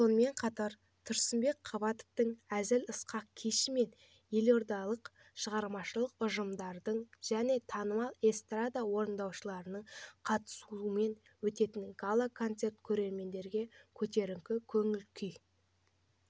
сонымен қатар тұрсынбек қабатовтың әзіл-сықақ кеші мен елордалық шығармашылық ұжымдардың және танымал эстрада орындаушыларының қатысуымен өтетін гала-концерт көрермендерге көтеріңкі көңіл-күй